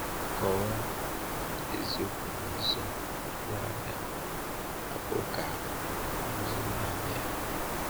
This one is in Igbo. Kọwaa um eziokwu n’ụzọ doro anya, hapụ ka ọ guzoro naanị ya.